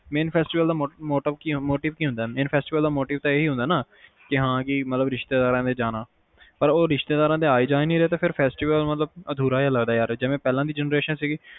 mainfestival ਦਾ motive ਕਿ ਹੁੰਦਾ, mainfestivalmotive ਦਾ ਏਹੀ ਹੁੰਦਾ ਹੈ ਨਾ ਰਿਸ਼ਤੇਦਾਰਾ ਦੇ ਜਾਣਾ ਪਰ ਹੁਣ ਰਿਸ਼ਤੇਦਾਰਾ ਆ ਜਾ ਨਹੀਂ ਰਹੇ ਤਾ festival ਅਧੂਰਾ ਜਾ ਲੱਗਦਾ ਹੈਂ ਪਹਿਲਾ ਦੀ generation ਸੀਗੀ